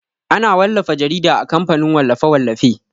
Ana wallafa jarida a kamfanin wallafe-wallafe.